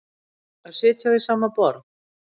Að sitja við sama borð